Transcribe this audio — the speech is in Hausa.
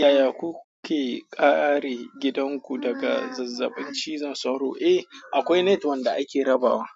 Yaya kuke kare gidanku daga zazzabin cizon sauro? Eh, akwai net wanda ake rabawa.